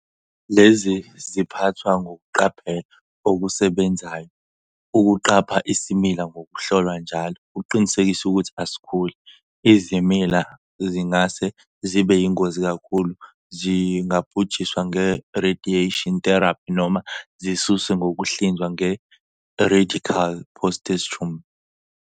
Lezi ziphathwa ngokuqapha okusebenzayo, ukuqapha isimila ngokuhlolwa njalo ukuqinisekisa ukuthi asikhuli. Izimila ezingase zibe yingozi kakhulu zingabhujiswa nge-radiation therapy noma zisuswe ngokuhlinzwa nge-I-radical prostatectomy.